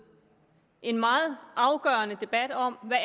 en meget afgørende debat om hvad